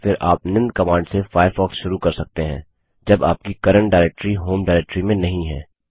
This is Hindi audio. या फिर आप निम्न कमांड से फ़ायरफ़ॉक्स शुरू कर सकते हैं जब आपकी करंट डिरेक्टरी होम डिरेक्टरी में नहीं है